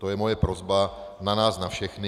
To je moje prosba na nás na všechny.